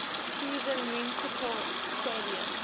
cleveland municipal stadium